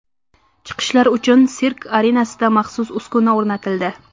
Chiqishlar uchun sirk arenasida maxsus uskuna o‘rnatildi.